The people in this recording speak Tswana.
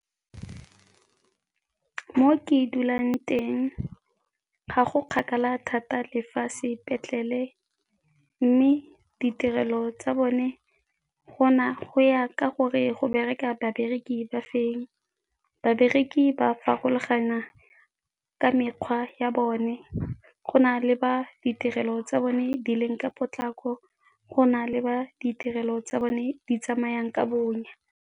Mo ke dulang teng ga go kgakala thata le fa sepetlele mme ditirelo tsa bone go ya ka gore go bereka babereki ba fe. Babereki ba farologana ka mekgwa ya bone, go na le ba ditirelo tsa bone di leng ka potlako, go na le ba ditirelo tsa bone di tsamayang ka bonya.